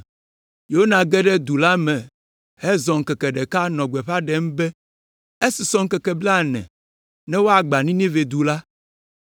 Yona ge ɖe du la me hezɔ ŋkeke ɖeka nɔ gbeƒã ɖem be, “Esusɔ ŋkeke blaene ne woagbã Ninive du la!”